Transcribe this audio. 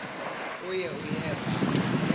kuye uyeva ke